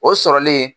O sɔrɔlen